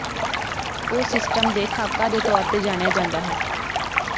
ਉਹ ਸਿਸਟਮ ਦੇ ਖਾਕਾ ਦੇ ਤੌਰ ਤੇ ਜਾਣਿਆ ਜਾਦਾ ਹੈ